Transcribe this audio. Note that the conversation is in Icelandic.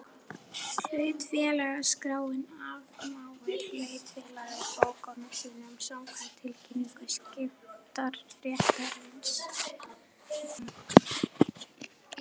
Hlutafélagaskráin afmáir hlutafélag úr bókum sínum samkvæmt tilkynningu skiptaréttarins.